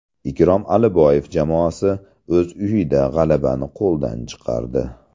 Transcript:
Ikrom Aliboyev jamoasi o‘z uyida g‘alabani qo‘ldan chiqardi.